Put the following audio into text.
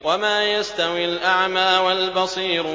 وَمَا يَسْتَوِي الْأَعْمَىٰ وَالْبَصِيرُ